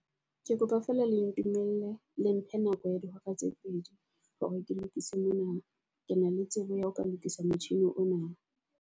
Ke kopa feela le ntumelle le mphe nako ya di hora tse pedi hore ke lokise mona. Ke na le tsebo ya ho ka lokisa motjhini ona.